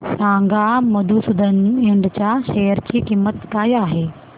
सांगा मधुसूदन इंड च्या शेअर ची किंमत काय आहे